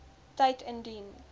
tyd indien